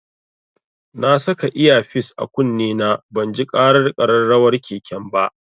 Na saka iya fis a kunne na banji ƙarar ƙararrawar keken ba.